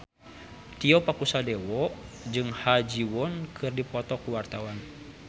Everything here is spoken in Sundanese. Tio Pakusadewo jeung Ha Ji Won keur dipoto ku wartawan